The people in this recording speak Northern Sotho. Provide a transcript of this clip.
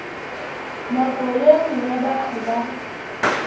nako ye nngwe batho ba